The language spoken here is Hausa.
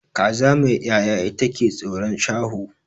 Kaza mai ya'ya ita ke tsoron shaho